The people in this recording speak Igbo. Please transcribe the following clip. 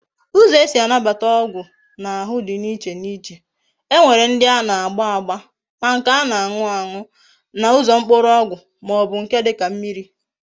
Uzo ezi anabata ogwu na ahu di na iche na iche. E nwere ndi ana agba agba, ma nke ana anu any na Uzo mkpuru ogwu ma o bu nke dika mmiri